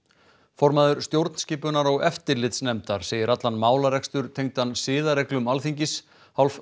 formaður stjórnskipunar og eftirlitsnefndar segir allan málarekstur tengdan siðareglum Alþingis hálf